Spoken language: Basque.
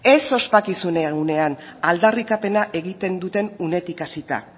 ez ospakizunean unean aldarrikapena egiten duten unetik hasita